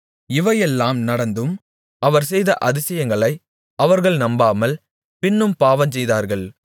இவையெல்லாம் நடந்தும் அவர் செய்த அதிசயங்களை அவர்கள் நம்பாமல் பின்னும் பாவஞ்செய்தார்கள்